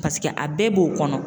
Paseke a bɛɛ b'o kɔnɔ.